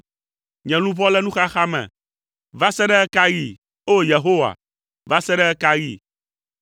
Nye luʋɔ le nuxaxa me. Va se ɖe ɣe ka ɣi, O! Yehowa, va se ɖe ɣe ka ɣi?